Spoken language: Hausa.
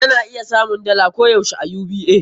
Ka na iya samun dala koh yaushe a UBA.